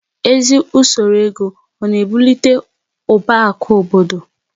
Ezi usoro ego ọ na-ebulite ụba akụ obodo?